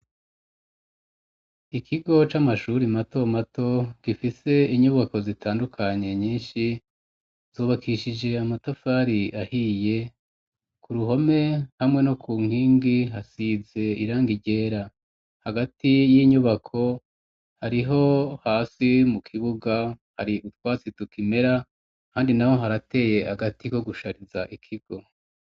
Ikigo c'amashuri mato mato gifise inyubako zitandukanye nyinshi, zubakishije amatafari ahiye, ku ruhome hamwe no ku nkingi hasize irangi ryera, hagati y'inyubako hariho hasi mu kibuga hari utwasi tukimera kandi naho harateye agati ko gushariza ikigo.